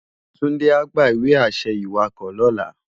Tunde á gbá iwe-ašẹ iwákò lòlá